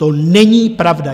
To není pravda.